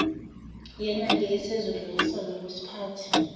yenake ozosedlulisela wkisiphathi